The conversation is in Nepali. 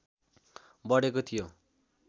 बढेको थियो